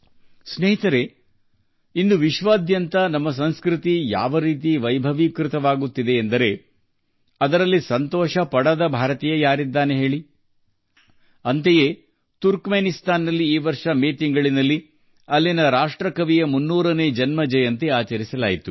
ಸ್ನೇಹಿತರೆ ಇಂದು ವಿಶ್ವಾದ್ಯಂತ ನಮ್ಮ ಸಂಸ್ಕೃತಿಯು ವೈಭವ ಗಳಿಸುತ್ತಿರುವ ರೀತಿ ನೋಡಿದ ಯಾವ ಭಾರತೀಯ ಸಂತೋಷಪಡುವುದಿಲ್ಲ ಹೇಳಿ ಉದಾಹರಣೆಗೆ ತುರ್ಕಮೆನಿಸ್ತಾನ್ನಲ್ಲಿ ಅಲ್ಲಿನ ರಾಷ್ಟ್ರೀಯ ಕವಿಯ 300ನೇ ಜನ್ಮ ವಾರ್ಷಿಕೋತ್ಸವವನ್ನು ಈ ವರ್ಷ ಮೇ ತಿಂಗಳಲ್ಲಿ ಆಚರಿಸಲಾಯಿತು